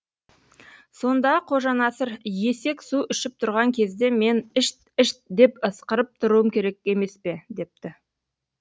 сонда қожанасыр есек су ішіп тұрған кезде мен ішт ішт деп ысқырып тұруым керек емес пе депті